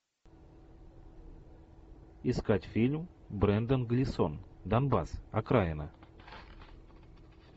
искать фильм брендан глисон донбасс окраина